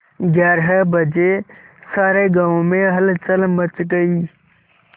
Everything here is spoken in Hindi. ग्यारह बजे सारे गाँव में हलचल मच गई